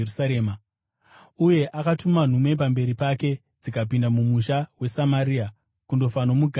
Uye akatuma nhume pamberi pake, dzikapinda mumusha weSamaria kundofanomugadzirira zvinhu;